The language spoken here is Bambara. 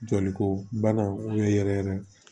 Joli ko bana yɛrɛ yɛrɛ